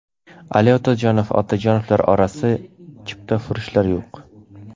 Ali Otajonov: Otajonovlar orasida chiptafurushlar yo‘q.